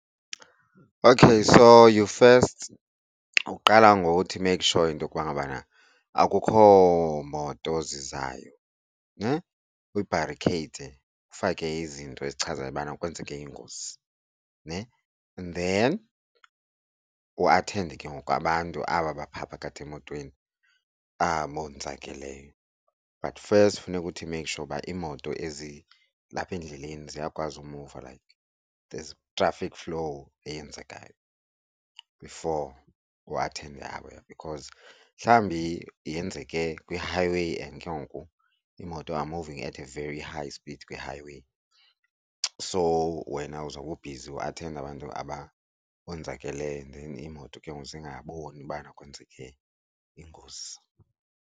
Okay. So, you first uqala ngokuthi make sure into kuba ngabana akukho moto zizayo, ne? Uyibharikheyithe, ufake izinto ezichazayo ubana kwenzeke ingozi ne. And then uathende ke ngoku abantu aba baphaa phakathi emotweni abonzakeleyo, but first funeka uthi make sure uba imoto ezilapha endleleni ziyakwazi emuva like there's traffic flow eyenzekayo before uathende abaya because mhlawumbi yenzeke kwi-highway and ke ngoku iimoto are moving at a very high speed kwi-highway. So wena uzawube ubhizi uathenda abantu aba bonzakeleyo iimoto ke ngoku zingaboni ubana kwenzeke ingozi.